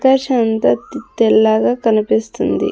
తర్ సంతత్ తెల్లగా కనిపిస్తుంది.